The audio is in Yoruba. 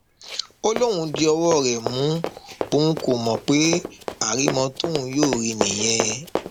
ó lóun di ọwọ rẹ mú òun kó mọ pé àrìmọ tóun yóò rí i nìyẹn